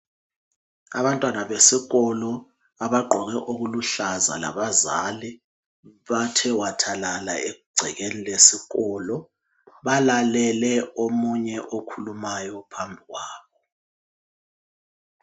Abantwana besikolo abagqoke okuluhlaza labazali bathe wathalala egcekeni lesikolo balalele omunye okhulumayo ophambili kwabo.